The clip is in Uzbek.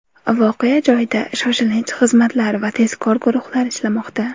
Voqea joyida shoshilinch xizmatlar va tezkor guruhlar ishlamoqda.